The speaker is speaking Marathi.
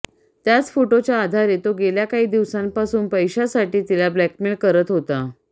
त्याच फोटोच्या आधारे तो गेल्या काही दिवसांपासून पैशासाठी तिला ब्लॅकमेल करत होता